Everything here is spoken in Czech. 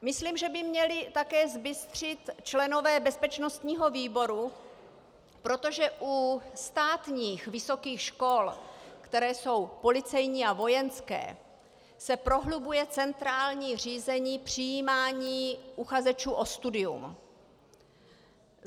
Myslím, že by měli také zbystřit členové bezpečnostního výboru, protože u státních vysokých škol, které jsou policejní a vojenské, se prohlubuje centrální řízení přijímání uchazečů o studium.